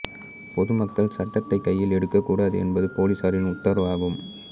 பொது மக்கள் சட்டத்தை கையில் எடுக்கக் கூடாது என்பது பொலிஸாரின் உத்தரவாகும்